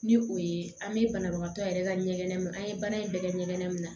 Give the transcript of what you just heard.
Ni o ye an bɛ banabagatɔ yɛrɛ ka ɲɛgɛn an ye baara in bɛɛ kɛ ɲɛgɛn na